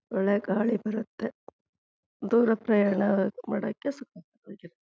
ಒಳ್ಳೆ ಗಾಳಿ ಬರುತ್ತೆ ದೂರ ಪ್ರಯಾಣ ಮಾಡೋಕೆ